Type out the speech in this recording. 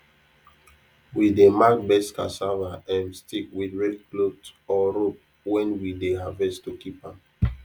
we dey mark best cassava um stick with red cloth or rope when we dey harvest to keep am